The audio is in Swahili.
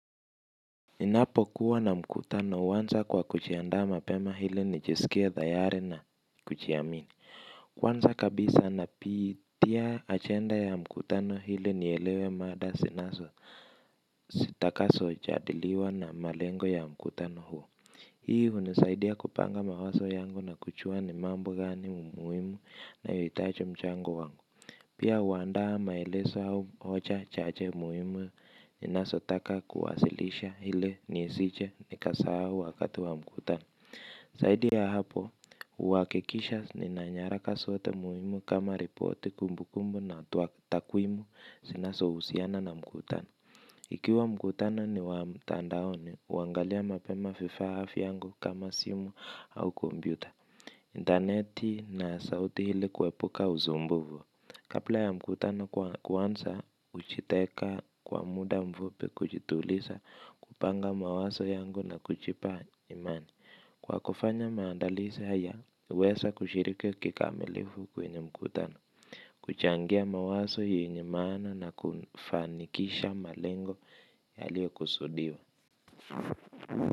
Ninapokuwa na mkutano huanza kwa kujiandaa mapema ili nijisikie tayari na kujiamini. Kwanza kabisa napitia agenda ya mkutano ili nielewe mada zinazo zitakazo jadiliwa na malengo ya mkutano huo. Hii hunisaidia kupanga mawazo yangu na kujua ni mambo gani muhimu na nayohitaji mchango wangu. Pia huandaa maelezo au hoja chache muhimu ninazotaka kuwasilisha ili nisije nikasahau wakati wa mkutano zaidi ya hapo huhakikisha nina nyaraka zote muhimu kama ripoti kumbu kumbu na takwimu zinazohusiana na mkutano. Ikiwa mkutano ni wa mtandaoni huangalia mapema vifaa vyangu kama simu au kompyuta Interneti na sauti ili kuepuka usumbufu. Kabla ya mkutano kuanza hujiteka kwa muda mfupi kujituliza kupanga mawazo yangu na kujipa imani. Kwa kufanya maandalizi haya, huweza kushiriki kikamilifu kwenye mkutano. Kuchangia mawazo yenye maana na kufanikisha malengo yalio kusudiwa.